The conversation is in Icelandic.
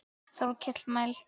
Þórkell mælti